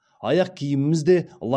аяқ киіміміз де лай болатын қазір тамаша